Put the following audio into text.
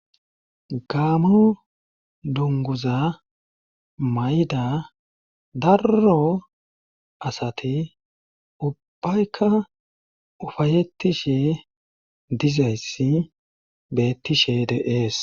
gaamo dunguza mayda darro asati ubbaykka ufayettishe dizayssi bettishe dee'es